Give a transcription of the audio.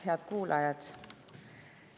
Head kuulajad!